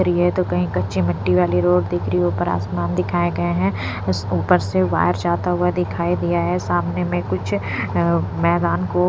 तो कहीं कच्ची मिट्टी वाली रोड दिख रही ऊपर आसमान दिखाए गए हैं उस ऊपर से वायर जाता हुआ दिखाई दिया है सामने में कुछ अ मैदान को --